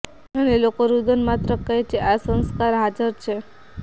અને લોકો રુદન માત્ર કહે છે કે આ સંસ્કાર હાજર છે